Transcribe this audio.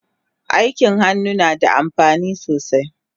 Aikin hannu nada amfani sosai